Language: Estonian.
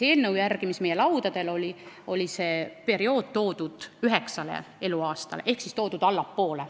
Eelnõu järgi oli see toodud üheksale eluaastale ehk allapoole.